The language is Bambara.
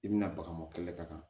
I bɛna baga kɛlɛ ka taa